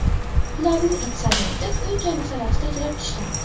Ularning aksariyati uy-joy masalasida kelib tushgan.